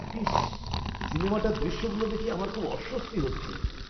ইসস! সিনেমাটার দৃশ্যগুলো দেখে আমার খুব অস্বস্তি হচ্ছে।